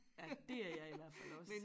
Ja dét er jeg i hvert fald også